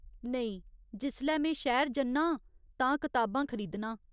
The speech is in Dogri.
नेईं, जिसलै में शहर जन्नां आं तां किताबां खरीदनां।